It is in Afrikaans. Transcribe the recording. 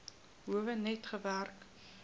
howe net gewerk